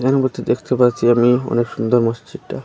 দেখতে পাচ্ছি আমি অনেক সুন্দর মসজিদটা।